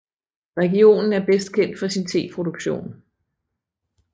Regionen er bedst kendt for sin teproduktion